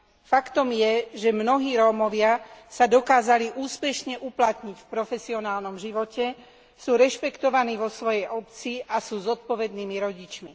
Faktom je, že mnohí Rómovia sa dokázali úspešne uplatniť v profesionálnom živote, sú rešpektovaní vo svojej obci a sú zodpovednými rodičmi.